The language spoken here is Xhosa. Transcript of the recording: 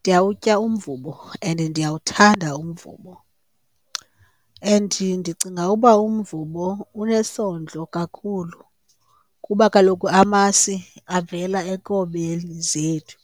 Ndiyawutya umvubo and ndiyawuthanda umvubo and ndicinga uba umvubo unesondlo kakhulu kuba kaloku amasi avela enkomeni zethu.